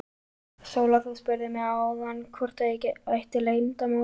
Sóla, þú spurðir mig áðan hvort ég ætti leyndarmál.